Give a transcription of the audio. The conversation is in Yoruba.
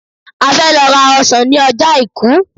A fẹ́ lọ ra ọsàn ní ọjọ́ àìkú.